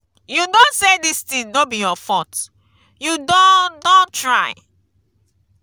you no say dis thing no be your fault you don don try.